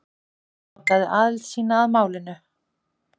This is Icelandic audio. Hann játaði aðild sína að málinu